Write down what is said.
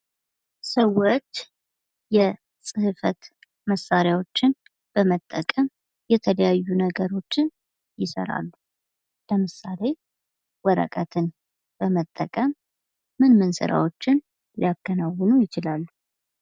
ሰዎች የ ጽሕፈት መሣሪያዎችን በመጠቀም የተለያዩ ነገሮችን ይሠራሉ። ለምሳሌ ወረቀትን በመጠቀም ምን ምን ሥራዎችን ሊያከናውኑ ይችላሉ?